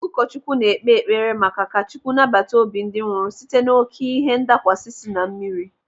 Ụkọchukwu na-ekpe ekpere maka ka Chukwu nabata obi ndị nwụrụ site n'oké ihe ndakwasa sị na mmiri.